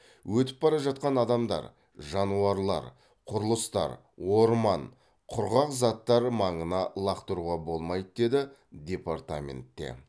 өтіп бара жатқан адамдар жануарлар құрылыстар орман құрғақ заттар маңына лақтыруға болмайды деді департаментте